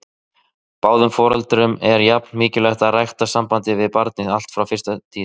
Báðum foreldrum er jafn mikilvægt að rækta sambandið við barnið allt frá fyrstu tíð.